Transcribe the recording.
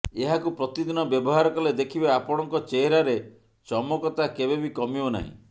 ଏହାକୁ ପ୍ରତିଦିନ ବ୍ୟବହାର କଲେ ଦେଖିବେ ଆପଣଙ୍କ ଚେହେରାରେ ଚମକତା କେବେବି କମିବ ନାହିଁ